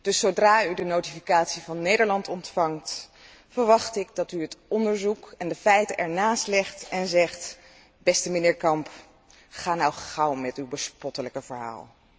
Dus zodra u de notificatie van Nederland ontvangt, verwacht ik dat u het onderzoek en de feiten ernaast legt en zegt Beste mijnheer Kamp, ga nu gauw met uw bespottelijke verhaal.